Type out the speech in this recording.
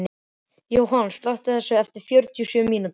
Jóhann, slökktu á þessu eftir fjörutíu og sjö mínútur.